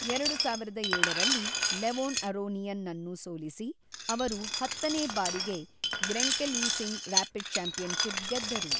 ಎರಡು ಸಾವಿರದ ಏಳರಲ್ಲಿ, ಲೆವೊನ್ ಅರೋನಿಯನ್ ನನ್ನು ಸೋಲಿಸಿ, ಅವರು ಹತ್ತನೇ ಬಾರಿಗೆ ಗ್ರೆಂಕೆಲೀಸಿಂಗ್ ರಾಪಿಡ್ ಚಾಂಪಿಯನ್‌ಶಿಪ್ ಗೆದ್ದರು.